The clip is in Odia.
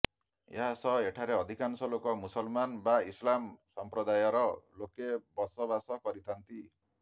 ଏହା ସହ ଏଠାରେ ଅଧିକାଂଶ ଲୋକ ମୁସଲମାନ ବା ଇସଲାମ ସମ୍ପ୍ରଦାୟର ଲୋକେ ବସବାସ କରିଥାନ୍ତି